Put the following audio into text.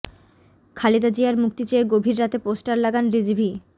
খালেদা জিয়ার মুক্তি চেয়ে গভীর রাতে পোস্টার লাগান রিজভী